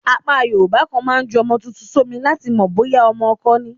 Apá Yorùbá kan máa ń ju ọmọ tuntun sómi láti mọ̀ bóyá ọmọkọ ni.